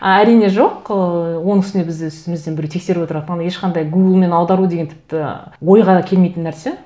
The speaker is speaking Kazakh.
әрине жоқ ыыы оның үстіне бізді үстімізден біреу тексеріп отырады оны ешқандай гуглмен аудару деген тіпті ойға келмейтін нәрсе